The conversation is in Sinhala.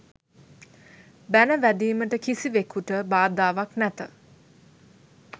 බැන වැදීමට කිසිවෙකුට බාධාවක් නැත.